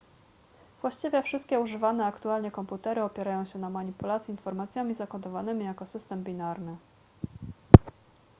właściwie wszystkie używane aktualnie komputery opierają się na manipulacji informacjami zakodowanymi jako system binarny